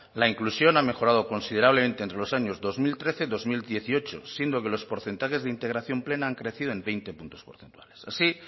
la inclusión ha mejorado considerablemente entre los años dos mil trece dos mil dieciocho siendo que los porcentajes de integración plena han crecido en veinte puntos porcentuales así